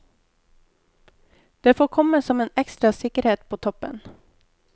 Det får komme som en ekstra sikkerhet på toppen.